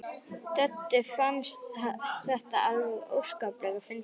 Döddu fannst þetta alveg óskaplega fyndið.